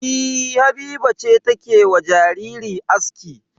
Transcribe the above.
E, Habiba ce take wa jariri aski.